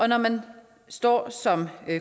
når man står som